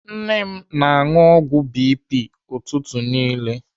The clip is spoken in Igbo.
Nne m na-anụ ọgwụ BP ụtụtụ niile.